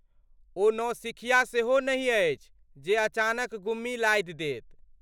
ओ नौसिखिया सेहो नहि अछि जे अचानक गुम्मी लाधि देत।